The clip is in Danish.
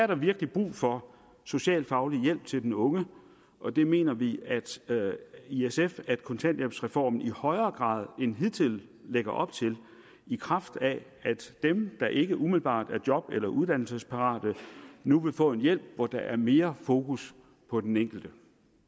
der virkelig brug for socialfaglig hjælp til den unge og det mener vi i sf at kontanthjælpsreformen i højere grad end hidtil lægger op til i kraft af at dem der ikke umiddelbart er job eller uddannelsesparate nu vil få en hjælp hvor der er mere fokus på den enkelte